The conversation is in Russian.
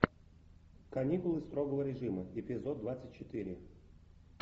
каникулы строгого режима эпизод двадцать четыре